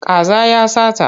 Kaza ya sata.